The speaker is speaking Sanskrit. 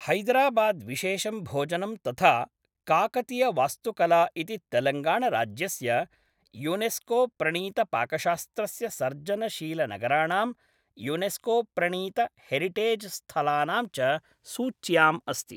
हैदराबाद्विशेषं भोजनं तथा काकतियवास्तुकला इति तेलङ्गणाराज्यस्य, यूनेस्कोप्रणीतपाकशास्त्रस्य सर्जनशीलनगराणां, यूनेस्कोप्रणीतहेरिटेज् स्थलानां च सूच्याम् अस्ति।